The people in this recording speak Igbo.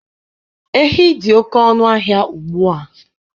Ehi dị oke ọnụahịa ugbua.